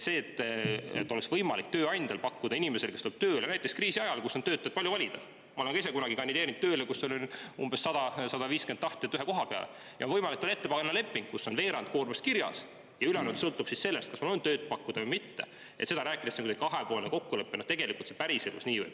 See, et oleks võimalik tööandjal pakkuda inimesele, kes tuleb tööle, näiteks kriisi ajal, kui on töötajaid palju valida – ma olen ka ise kunagi kandideerinud tööle, kui oli 100–150 tahtjat ühe koha peale –, lepingut, kus on veerand koormust kirjas ja ülejäänud sõltub sellest, kas on tööd pakkuda või mitte, ja siis rääkida sellest, et see on kahepoolne kokkulepe – no tegelikult see päriselus ju nii ei ole.